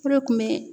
Fura kun bɛ